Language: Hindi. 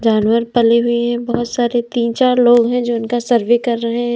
जानवर पले हुए हैं बहुत सारे तीन चार लोग हैं जो उनका सर्वे कर रहे हैं।